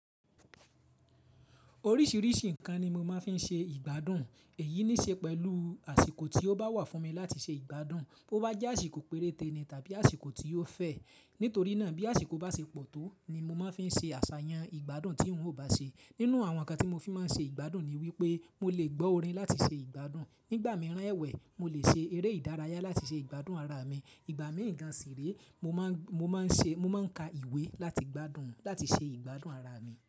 Oríṣìíríṣìí nǹkan ni mo máa ń fi ṣe ìgbádùn èyí níí ṣe pẹ̀lú àsìkò tí ó bá wà fún mi láti ṣe ìgbádùn. Bo bá jẹ́ àsìkò péréte ni tàbí àsìkò tí ó fẹ́. Nítorí náà bí àsìkò bá ṣe pọ̀ tó ni mo máa ń fi ṣe àṣàyàn ìgbádùn tí n ò bá ṣe. Nínú àwọn nǹkan tí mo fi máa ń ṣe ìgbádùn ni wípé mo lè gbọ́ orin láti ṣe ìgbádùn. Nígbà mìíràn ẹwẹ́ mo lè ṣe eré ìdárayá láti ṣe ìgbádùn ara mi. Ìgbà mìíràn sì rí mo máa ń ka ìwé láti gbádùn, láti ṣe ìgbádùn ara mi.